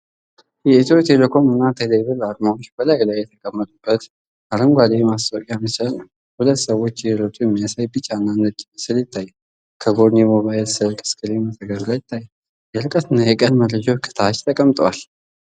የኢትዮ ቴሌኮም እና ቴሌብር አርማዎች በላዩ ላይ የተቀመጡበት አረንጓዴ የማስታወቂያ ምስል ነው። ሁለት ሰዎች እየሮጡ የሚያሳይ ቢጫና ነጭ ምስል ይታያል። ከጎን የሞባይል ስልክ ስክሪን መተግበሪያ ይታያል፤ የርቀትና የቀን መረጃዎች ከታች ተቀምጠዋል።